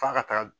F'a ka taga